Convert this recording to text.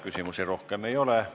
Küsimusi rohkem ei ole.